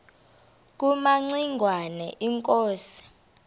kumaci ngwana inkosi